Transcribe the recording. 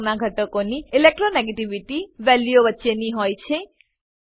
pink રંગનાં ઘટકોની electronegativity વેલ્યુઓ વચ્ચેની હોય છે